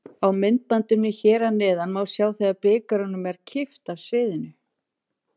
Á myndbandinu hér að neðan má sjá þegar bikarnum er kippt af sviðinu.